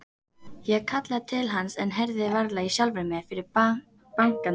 Ég kallaði til hans en heyrði varla í sjálfri mér fyrir bankandi hjartslættinum.